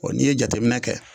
O n'i ye jateminɛ kɛ